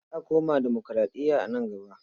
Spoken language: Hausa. Za a koma demokuraɗiya a nan gaba.